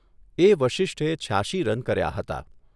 એ વશિષ્ઠે છ્યાશી રન કર્યા હતા.